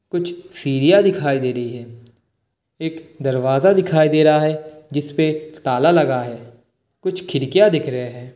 कुछ सीढ़ियां दिखाई दे रही है। एक दरवाजा दिखाई दे रहा है जिसपे ताला लगा है। कुछ खिड़कियां दिख रहे हैं ।